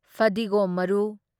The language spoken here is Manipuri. ꯐꯗꯤꯒꯣꯝ ꯃꯔꯨ